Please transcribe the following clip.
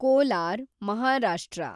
Kolar, Maharashtra